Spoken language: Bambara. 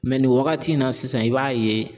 Mɛ nin wagati in na sisan i b'a ye